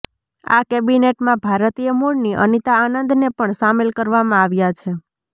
આ કેબિનેટમાં ભારતીય મુળની અનીતા આનંદને પણ સામેલ કરવામાં આવ્યા છે